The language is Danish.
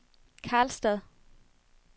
Karlstad